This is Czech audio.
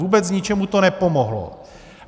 Vůbec ničemu to nepomohlo.